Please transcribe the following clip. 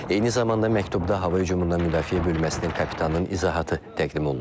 Eyni zamanda məktubda hava hücumundan müdafiə bölməsinin kapitanının izahatı təqdim olunur.